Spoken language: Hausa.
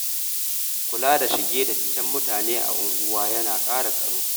Kula da shige da ficen mutane a unguwa yana ƙara tsaro